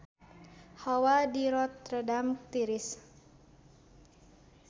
Hawa di Rotterdam tiris